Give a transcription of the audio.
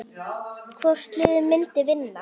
Hvort liðið myndi vinna?